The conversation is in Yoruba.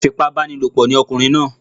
Afipábánilòpọ̀ ni ọkùnrin náà